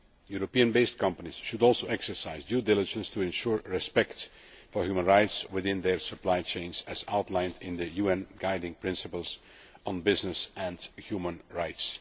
Europe based companies should also exercise due diligence to ensure respect for human rights within their supply chains, as outlined in the UN Guiding Principles on Business and Human Rights.